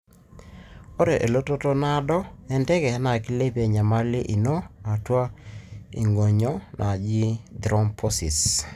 ore elototo nadoo enteke na kilepie enyamali ino eatua ingonyo naaji thrombosis.